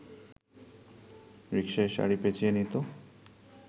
রিকসায় শাড়ি পেঁচিয়ে নিত